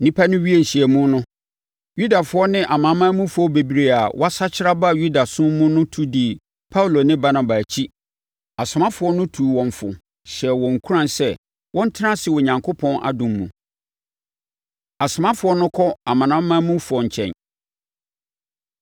Nnipa no wiee nhyiamu no, Yudafoɔ ne amanamanmufoɔ bebree a wɔasakyera aba Yudasom mu no tu dii Paulo ne Barnaba akyi. Asomafoɔ no tuu wɔn fo, hyɛɛ wɔn nkuran sɛ wɔntena ase Onyankopɔn adom mu. Asomafoɔ No Kɔ Amanamanmufoɔ Nkyɛn